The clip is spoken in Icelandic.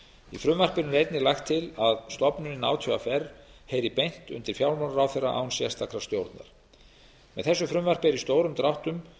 í frumvarpinu er einnig lagt til að stofnunin átvr heyri beint undir fjármálaráðherra án sérstakrar stjórnar með þessu frumvarpi er í stórum dráttum